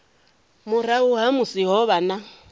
murahu ha musi ho vha